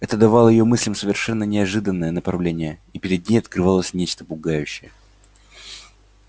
это давало её мыслям совершенно неожиданное направление и перед ней открывалось нечто пугающее